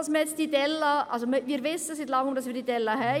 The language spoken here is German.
Also: Wir wissen seit Langem, dass wir diese Delle haben.